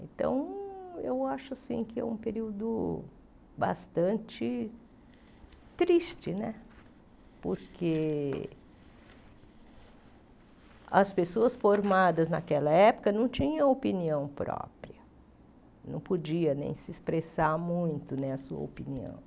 Então, eu acho assim que é um período bastante triste né, porque as pessoas formadas naquela época não tinham opinião própria, não podia nem se expressar muito né a sua opinião.